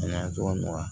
N'a cogoya